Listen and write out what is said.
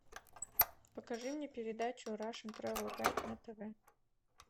покажи мне передачу рашн трэвел гайд на тв